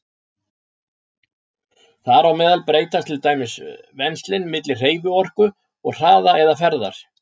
Þar á meðal breytast til dæmis venslin milli hreyfiorku og hraða eða ferðar.